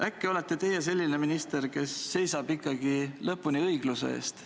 Äkki olete teie selline minister, kes seisab ikkagi lõpuni õigluse eest.